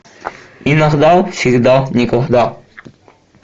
иногда всегда никогда